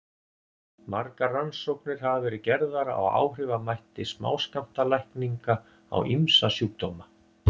margar rannsóknir hafa verið gerðar á áhrifamætti smáskammtalækninga á ýmsa sjúkdóma